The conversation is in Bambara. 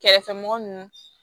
Kɛrɛfɛmɔgɔ ninnu